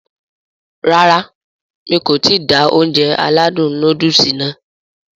Rárá mi kò ti da Ounjẹ aládùn nóódùsì nàá